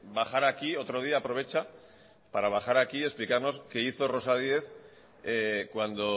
bajar aquí otro día y aprovechar para explicarnos qué hizo rosa diez cuando